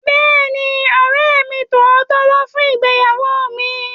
Bẹ́ẹ̀ni, ọ̀rẹ́ mi tímọ́tímọ́ wá fún ìgbéyàwó mi